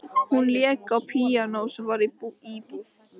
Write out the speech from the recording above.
Hún lék á píanó sem var í íbúð